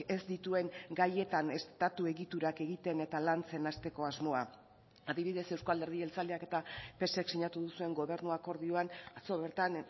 ez dituen gaietan estatu egiturak egiten eta lantzen hasteko asmoa adibidez euzko alderdi jeltzaleak eta psek sinatu duzuen gobernu akordioan atzo bertan